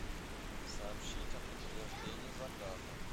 сообщить о подтверждении заказа